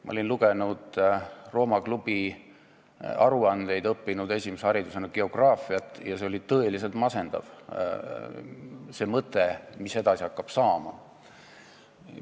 Ma olin lugenud Rooma Klubi aruandeid, õppinud esimese erialana geograafiat ja see oli tõeliselt masendav mõte, mis edasi hakkab saama.